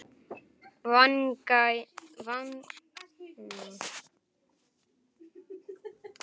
Vangaði ég ekki vel?